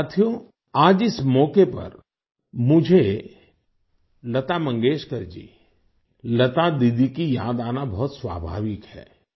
साथियो आज इस मौके पर मुझे लता मंगेशकर जी लता दीदी की याद आना बहुत स्वाभाविक है